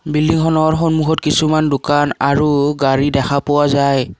বিল্ডিংখনৰ সন্মুখত কিছুমান দোকান আৰু গাড়ী দেখা পোৱা যায়।